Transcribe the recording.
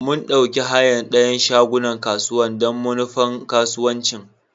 Mun ɗauki hayan dayan shagunan kasuwan don manufan kasuwanci.